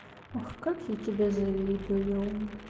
ах как я тебе завидую